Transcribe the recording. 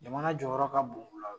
Jamana jɔyɔrɔ ka bon o la